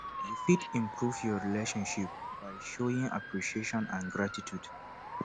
you fit improve your relationship by showing appreciation and gratitude